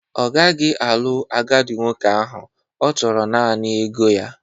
Ọ gaghị alụ agadi nwoke ahụ, ọ chọrọ naanị ego ya